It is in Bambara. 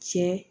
Cɛ